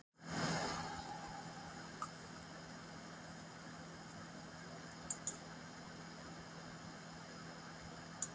Elín: Á ekkert að skreppa út úr bænum?